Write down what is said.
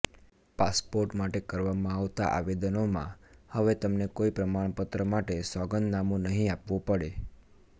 passport માટે કરવામાં આવતા આવેદનોમાં હવે તમને કોઈ પ્રમાણપત્ર માટે સોગંધનામુ નહી આપવુ પડે